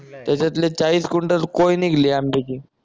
त्याच्यातले चाळीस गुंठ कोय निघली आंब्याची